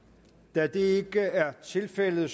da det ikke er tilfældet